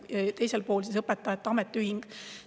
Ja teisel pool on õpetajate ametiühing.